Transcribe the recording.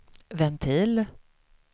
ventil